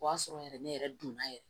O y'a sɔrɔ yɛrɛ ne yɛrɛ donna yɛrɛ